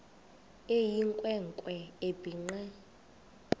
eyinkwe nkwe ebhinqe